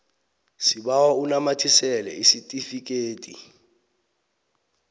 sibawa unamathisele isitifikedi